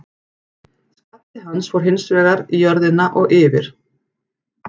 Skalli hans fór hins vegar í jörðina og yfir.